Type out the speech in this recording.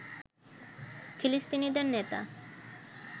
ফিলিস্তিনিদের নেতা